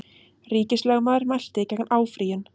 Ríkislögmaður mælti gegn áfrýjun